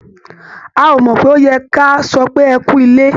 A ò mọ̀ pé ó yẹ kí a sọ pé "ẹ kú ilé".